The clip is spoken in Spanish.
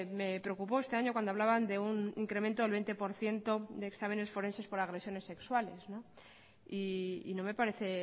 me preocupó este año cuando hablaban de un incremento del veinte por ciento de exámenes forenses por agresiones sexuales y no me parece